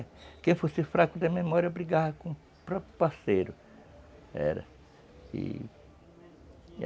É, quem fosse fraco da memória brigava com o próprio parceiro.